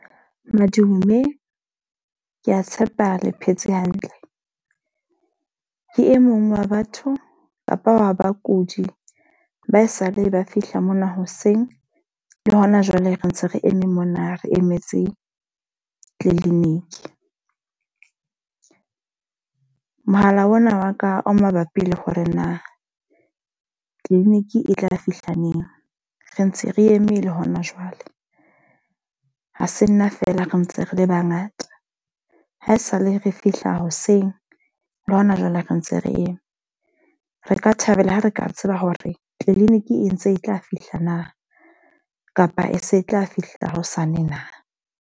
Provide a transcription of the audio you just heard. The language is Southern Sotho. Madume, ke a tshepa le phetse hantle. Ke e mong wa batho kapa wa bakudi ba e sa le ba fihla mona hoseng le hona jwale re ntse re eme mona, re emetse clinic. Mohala ona wa ka o mabapi le hore na clinic e tla fihla neng? Re ntse re eme le hona jwale, ha se nna fela re ntse re le ba ngata. Ha esale re fihla hoseng le hona jwale re ntse re eme. Re ka thabela ha re ka tseba hore clinic e ntse e tla fihla na, kapa e se tla fihla hosane na?